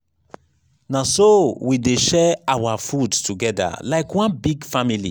na so we dey share our food togeda like one big family.